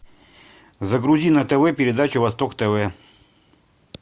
загрузи на тв передачу восток тв